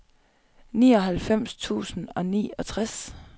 nioghalvfems tusind og niogtres